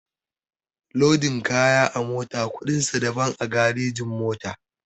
Lodin kaya a mota kuɗin sa daban a garejin-mota.